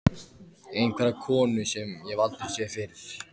Einhverja konu sem ég hef aldrei séð fyrr.